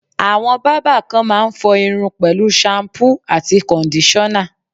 Àwọn bábà kan máa ń fọ irun pẹ̀lú ṣampú àti kọ̀ndíṣọ́nà.